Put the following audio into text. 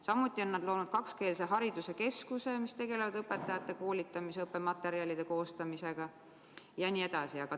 Samuti on nad loonud kakskeelse hariduse keskuse, mis tegeleb õpetajate koolitamisega, õppematerjalide koostamisega jne.